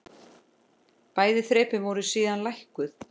Bæði þrepin voru síðan lækkuð.